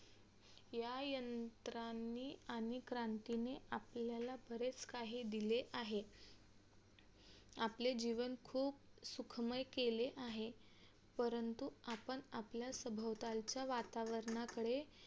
या यंत्रांनी आणि क्रांतीने आपल्याला बरच काही दिले आहे आपले जीवन खूप सुखमय केले आहे परंतु आपण आपल्या सभोतालच्या वातावरणाकडे